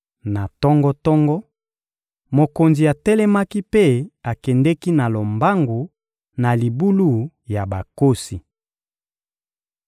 Na tongo-tongo, mokonzi atelemaki mpe akendeki na lombangu na libulu ya bankosi.